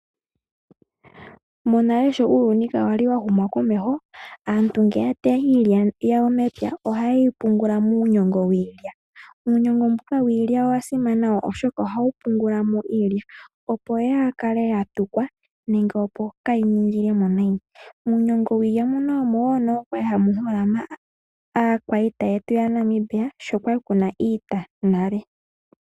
Monale sho uuyuni ka wa li wa huma komeho, aantu ngele ya teya iilya ohaye yi pungula muunyongo wiilya. Uunyongo mbuka wiilya owa simana oshoka ohawu pungula mo iilya opo yaa kale ya tukwa nenge yaa ningile mo nayi . Muunyongo wiilya mbuka omo wo kwa li hamu holama aakwiita yetu yaNamibia sho kwa li ku na iita nale.